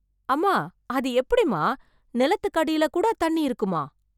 அம்மா. அது எப்படிமா ? நிலத்துக்கு அடியில கூட தண்ணி இருக்குமா ?